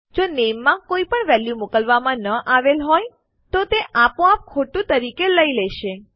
જો નામે માં કોઈ પણ વેલ્યુ મોકલવામાં ન આવેલ હોય તો તે આપોઆપ ખોટું તરીકે લઇ લેશે